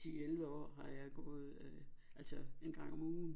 10 11 år har jeg gået øh altså en gang om ugen